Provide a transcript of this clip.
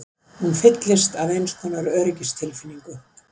Hún fyllist af einskonar öryggistilfinningu.